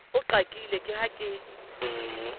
o qakile ke ha ke